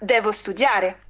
студия